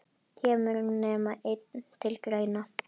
Kemur nema einn til greina?